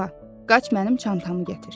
Yeva, qaç mənim çantamı gətir.